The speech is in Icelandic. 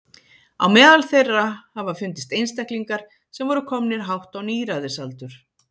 Á meðal þeirra hafa fundist einstaklingar sem voru komnir hátt á níræðisaldur.